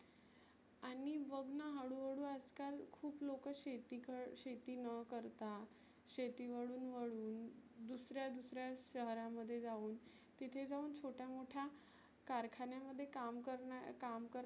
आणि बघ ना हळु हळु आज काल खुप लोक शेती क शेती न करता, शेती वळून वळुन दुसऱ्या दुसऱ्या शहरामध्ये जाऊन तिथे जाऊन छोट्या मोठ्या कारखान्यामध्ये काम कर काम करणं